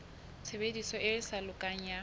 tshebediso e sa lokang ya